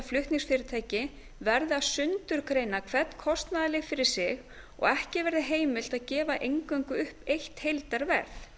flutningsfyrirtæki verði að sundurgreina hvern kostnaðarlið fyrir sig og ekki verði heimilt að gefa eingöngu upp eitt heildarverð